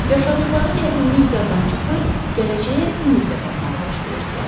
Yaşadıqları çətinlik yaddan çıxır, gələcəyə ümidlə baxmağa başlayırdılar.